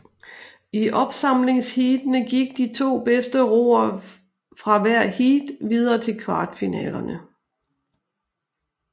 I opsamlingsheatene gik de to bedste roere fra hvert heat videre til kvartfinalerne